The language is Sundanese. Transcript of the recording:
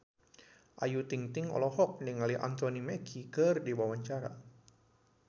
Ayu Ting-ting olohok ningali Anthony Mackie keur diwawancara